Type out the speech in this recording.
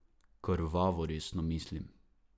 Krvavo resno mislim.